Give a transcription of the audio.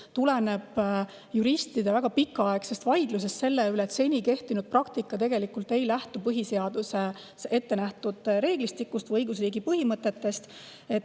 See tuleneb juristide väga pikaaegsest vaidlusest selle üle, et seni kehtinud praktika ei lähtu põhiseaduses ette nähtud reeglistikust või õigusriigi põhimõtetest.